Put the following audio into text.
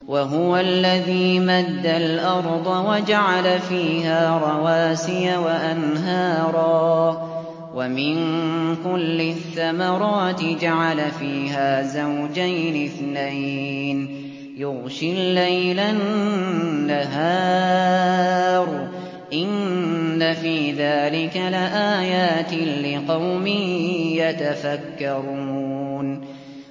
وَهُوَ الَّذِي مَدَّ الْأَرْضَ وَجَعَلَ فِيهَا رَوَاسِيَ وَأَنْهَارًا ۖ وَمِن كُلِّ الثَّمَرَاتِ جَعَلَ فِيهَا زَوْجَيْنِ اثْنَيْنِ ۖ يُغْشِي اللَّيْلَ النَّهَارَ ۚ إِنَّ فِي ذَٰلِكَ لَآيَاتٍ لِّقَوْمٍ يَتَفَكَّرُونَ